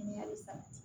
Ŋɛɲɛ bɛ sabati